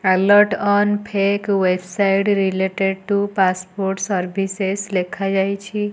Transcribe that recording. Alert on fake website related to passport services ଲେଖା ଯାଇଛି।